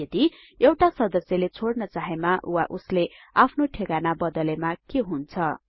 यदि एउटा सदस्यले छोड्न चाहेमा वा उसले आफ्नो ठेगाना बदलेमा के हुन्छ